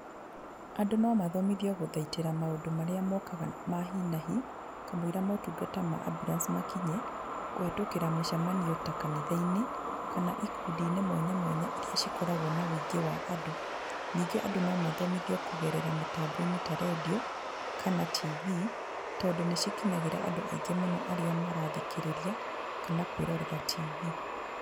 Andũ no mathimithio gũthaitĩra maũndũ marĩa mokaga hi na hi, kamũira motungata ma ambulance makinye, kũhĩtũkĩra mĩcemanio ta kanitha-inĩ kana ikundi-inĩ mwanya mwanya iria ikoragwo na ũingĩ wa andũ, ningĩ andũ no mathomithio kũgerera mĩtambo-inĩ ta rendiũ kana tibii, tondũ nĩ cikinyagĩra andũ aingĩ mũno arĩa marathikĩrĩria kana kwĩrorera tibii.